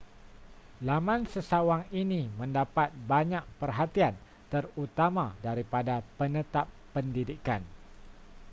laman sesawang ini mendapat banyak perhatian terutama daripada penetap pendidikan